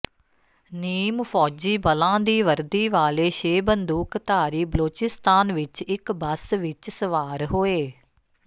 ਨੀਮ ਫ਼ੌਜੀ ਬਲਾਂ ਦੀ ਵਰਦੀ ਵਾਲੇ ਛੇ ਬੰਦੂਕਧਾਰੀ ਬਲੋਚਿਸਤਾਨ ਵਿੱਚ ਇੱਕ ਬੱਸ ਵਿੱਚ ਸਵਾਰ ਹੋਏ